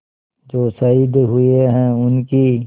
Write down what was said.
जो शहीद हुए हैं उनकी